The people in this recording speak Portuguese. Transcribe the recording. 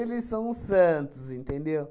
são os santos, entendeu?